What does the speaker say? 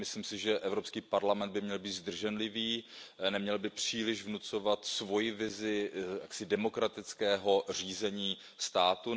Myslím si, že Evropský parlament by měl být zdrženlivý, neměl by příliš vnucovat svoji vizi demokratického řízení státu.